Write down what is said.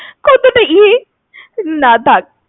কতটা ইয়ে, না থাক।